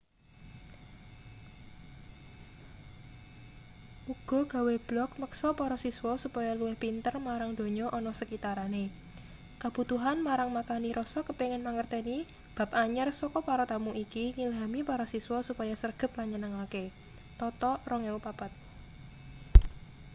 uga gawe blog meksa para siswa supaya luwih pinter marang donya ana sekitarane.” kabutuhan marang makani rasa kepingin mangerteni bab anyar saka para tamu iki ngilhami para siswa supaya sregep lan nyenengke toto 2004